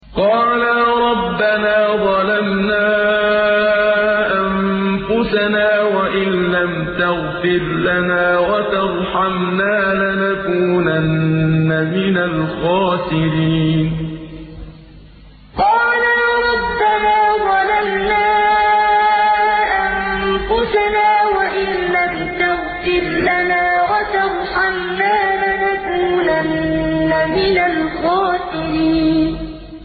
قَالَا رَبَّنَا ظَلَمْنَا أَنفُسَنَا وَإِن لَّمْ تَغْفِرْ لَنَا وَتَرْحَمْنَا لَنَكُونَنَّ مِنَ الْخَاسِرِينَ قَالَا رَبَّنَا ظَلَمْنَا أَنفُسَنَا وَإِن لَّمْ تَغْفِرْ لَنَا وَتَرْحَمْنَا لَنَكُونَنَّ مِنَ الْخَاسِرِينَ